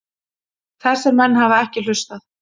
Þessir menn hafa ekki hlustað.